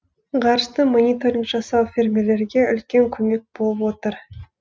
ғарыштан мониторинг жасау фермерлерге үлкен көмек болып отыр